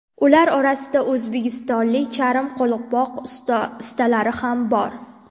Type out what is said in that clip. Ular orasida o‘zbekistonlik charm qo‘lqop ustalari ham bor.